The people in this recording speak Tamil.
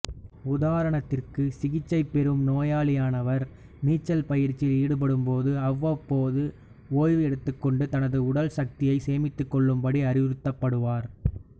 உதாரணத்திற்கு சிகிச்சை பெறும் நோயாளியானவர் நீச்சல் பயிற்சியில் ஈடுபடும்போது அவ்வப்போது ஒய்வு எடுத்துக்கொண்டு தனது உடல் சக்தியை சேமித்துக்கொள்ளும்படி அறிவுறுத்தப்படுவார்